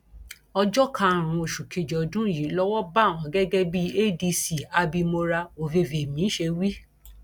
ọjọ karùnún oṣù kejì ọdún yìí lowó bá wọn gẹgẹ bí adc abimora oyeyèmí ṣe wí